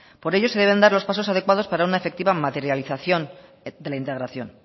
por ello se deben dar los pasos adecuados para una efectiva materialización de la integración